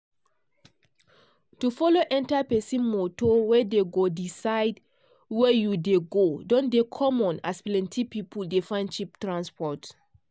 to follow enta pesin moto wey dey go di side wey you dey go don dey common as plenty pipo dey find cheap transport.